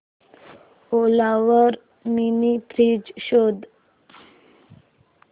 ओला वर mini fridge शोध